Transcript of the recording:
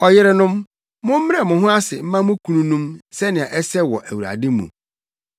Ɔyerenom, mommrɛ mo ho ase mma mo kununom sɛnea ɛsɛ wɔ Awurade mu.